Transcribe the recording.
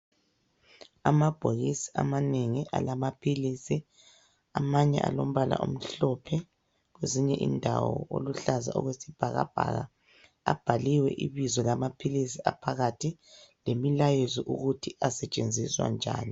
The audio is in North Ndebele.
Amabhokisi amanengi alamaphilisi. Amanye alombala omhlophe, kwezinye indawo oluhlaza okwesibhakabhaka abhaliwe ibizo lamaphilisi aphakathi lemilayezo ukuthi asetshenziswa njani.